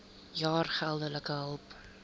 jaar geldelike hulp